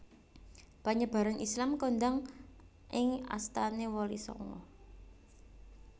Panyebaran Islam kondhang ing astane Wali Sanga